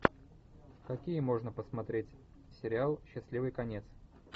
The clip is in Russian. какие можно посмотреть сериал счастливый конец